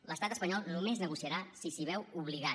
l’estat espanyol només negociarà si s’hi veu obligat